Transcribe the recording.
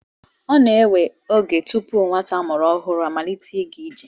Ọ na-ewe oge tupu nwata a mụrụ ọhụrụ amalite ịga ije.